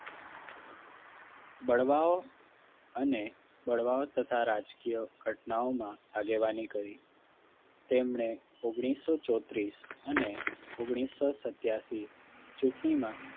બળવાઓ અને બળવાઓ તથા રાજકીય ઘટનાઓમાં આગેવાની કરી તેમણે ઓગણીસો ચોત્રીસ અને ઓગણીસો સત્યાસી ચૂંટણીમાં